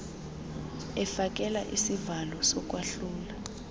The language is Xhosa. efakela isivalo sokwahlula